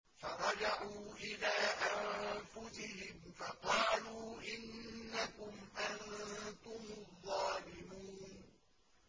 فَرَجَعُوا إِلَىٰ أَنفُسِهِمْ فَقَالُوا إِنَّكُمْ أَنتُمُ الظَّالِمُونَ